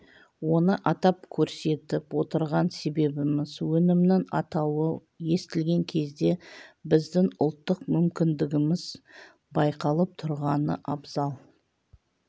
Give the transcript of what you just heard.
оны атап көрсетіп отырған себебіміз өнімнің атауы естілген кезде біздің ұлттық мүмкіндігіміз байқалып түрғаны абзал